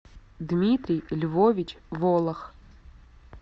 дмитрий львович волох